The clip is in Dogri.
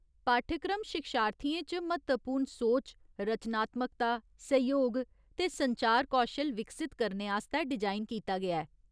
पाठ्यक्रम शिक्षार्थियें च म्हत्तवपूर्ण सोच, रचनात्मकता, सैहयोग ते संचार कौशल विकसत करने आस्तै डिजाइन कीता गेआ ऐ।